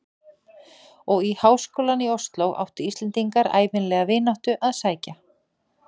Og í háskólann í Osló áttu Íslendingar ævinlega vináttu að sækja.